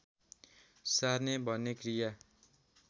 सार्ने भन्ने क्रिया